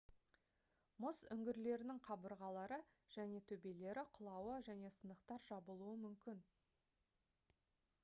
мұз үңгірлерінің қабырғалары және төбелері құлауы және сынықтар жабылуы мүмкін